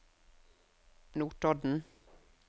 Notodden